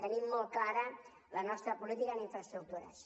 tenim molt clara la nostra política en infraestructures